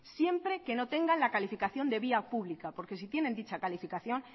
siempre que no tengan la calificación de vía pública porque si tienen dicha calificación